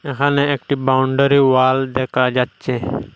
এখানে একটি boundary wall দেখা যাচ্ছে।